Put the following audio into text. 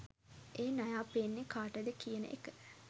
ඒ නයා පේන්නේ කාටද කියන එක